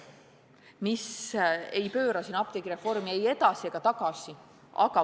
Me ei taha pöörata apteegireformi ei edasi ega tagasi.